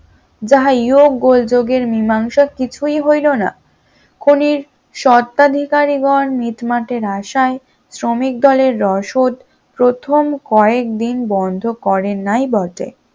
যাহা এহ গোলযোগের মীমাংসা কিছুই হইল না, খনির স্বত্বাধিকারী গন মিটমাটের আশায় শ্রমিক দলের রসদ প্রথম কয়েকদিন বন্ধ করেন নাই বটে